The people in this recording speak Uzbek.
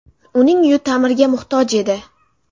Uning uyi ta’mirga muhtoj edi.